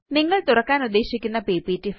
നിങ്ങള് തുറക്കാനുദ്ദേശിക്കുന്ന പിപിടി